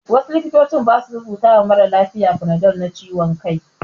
Wasu likitocin ba su rubuta ma maralafiya fanadol na ciwon kai.